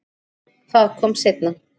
Það kom seinna